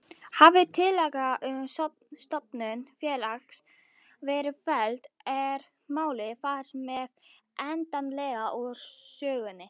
Hafi tillaga um stofnun félags verið felld er málið þar með endanlega úr sögunni.